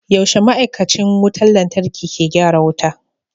Yaushe ma'aikacin wutar lantarki ke gyara wuta?